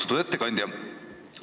Austatud ettekandja!